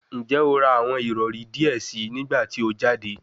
Njẹ o ra awọn irọri diẹ sii nigbati o jade?